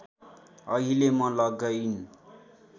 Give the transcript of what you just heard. अहिले म लगइन